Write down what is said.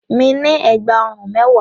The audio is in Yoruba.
Mi ní ẹ̀gbà ọrùn mẹ́wàá.